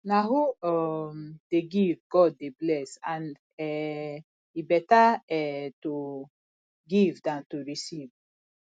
na who um dey give god dey bless and um e beta um to give dan to receive